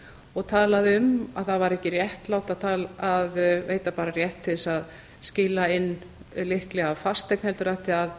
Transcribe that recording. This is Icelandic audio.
og talaði um að það væri ekki réttlátt að veita bara rétt til þess að skila inn lykli að fasteign heldur ætti að